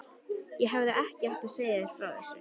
Ég hefði ekki átt að segja þér frá þessu